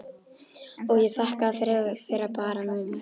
Og ég þakkaði fyrir að vera bara númer.